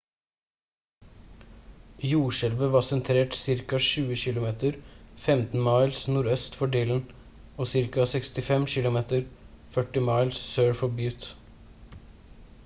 jordskjelvet var sentrert ca. 20 km 15 miles nordøst for dillon og ca. 65 km 40 miles sør for butte